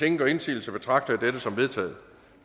ingen gør indsigelse betragter jeg dette som vedtaget